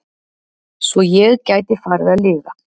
Svo ég gæti farið að lifa.